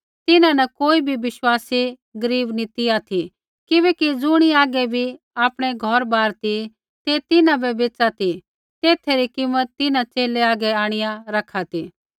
तिन्हां न कोई बी बिश्वासी गरीब नी ती ऑथि किबैकि ज़ुणी हागै बी आपणै घौरबार ती ते तिन्हां बै बेच़ा ती तेथै री कीमत तिन्हां च़ेले हागै आंणिआ रखा ती